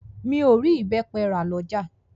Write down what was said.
Mi o rí ìbẹ́pẹ rà lọ́jà.